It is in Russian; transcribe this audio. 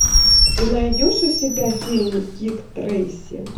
ты найдешь у себя фильм дик трейси